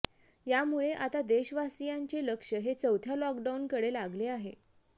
यामुळे आता देशवासियांचे लक्ष हे चौथ्या लॉकडाऊनकडे लागले आहे